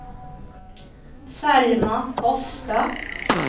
Selma Hofstad